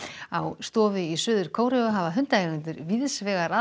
á stofu í Suður Kóreu hafa hundaeigendur víðs vegar að